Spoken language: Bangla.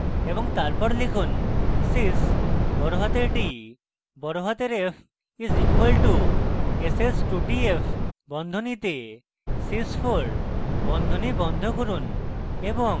এবং তারপর লিখুন: sys বড়হাতের t বড়হাতের f is equal two s s 2 t f বন্ধনীতে sys 4 বন্ধনী বন্ধ করুন এবং